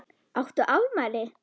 Áttu afmæli?